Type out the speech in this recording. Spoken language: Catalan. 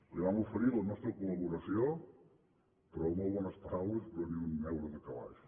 li vam oferir la nostra col·laboració però amb molt bones paraules però ni un euro de calaix